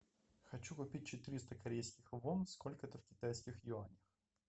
хочу купить четыреста корейских вон сколько это в китайских юанях